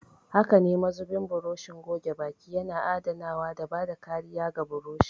Haka ne, mazubin burushin goge baki yana adanawa da bada kariya ga burushin.